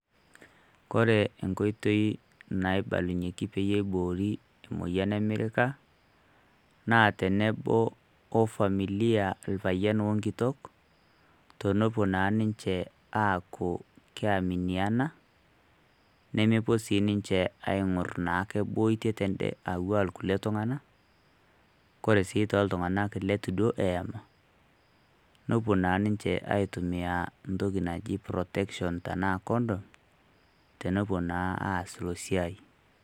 Kore enkotoi naibalunyeki peyie eiboorike emoyian e mirrika, naa tonoboo o familiaa lpayian o nkitok naa tonopoo naa ninchee aaku keaminiana. Nemepoo sii ninchee aing'urr naake boetie tedee auwa nkulee ltung'ana. Kore sii to ltung'anak letuu dook eamaa nopoo naa ninchee aitumia ntoki naji protection tana condom tenoboo naa aas lo siaai.